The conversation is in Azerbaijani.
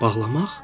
Bağlamaq?